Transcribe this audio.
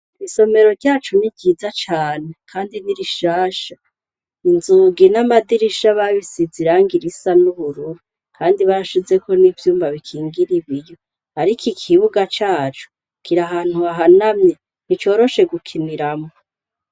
Isomero ryacu ni ryiza cane, kandi ni rishasha inzugi n’amadirisha babisize irangi risa n'ubururu, kandi bashizeko n'ivyumba bikingira ibiryo, ariko ikibuga cacu kira ahantu hahanamye nticoroshe gukiniramwo.